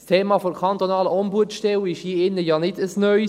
Das Thema der kantonalen Ombudsstelle ist hier im Saal ja kein neues.